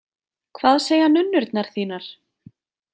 Hvað segja nunnurnar þínar?